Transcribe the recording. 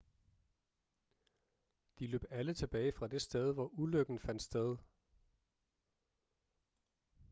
de løb alle tilbage fra det sted hvor ulykken fandt sted